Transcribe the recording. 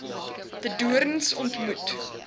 de doorns ontmoet